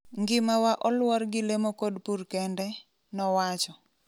"Ngimawa oluor gi lemo kod pur kende,"nowacho.